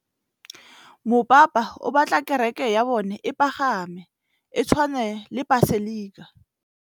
Mopapa o batla kereke ya bone e pagame, e tshwane le paselika.